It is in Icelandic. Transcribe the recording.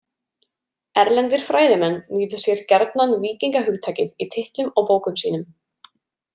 Erlendir fræðimenn nýta sér gjarnan víkingahugtakið í titlum á bókum sínum.